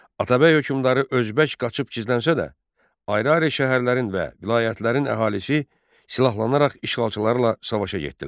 Atabəy hökmdarı Özbək qaçıb gizlənsə də, ayrı-ayrı şəhərlərin və vilayətlərin əhalisi silahlanaraq işğalçılarla savaşa getdilər.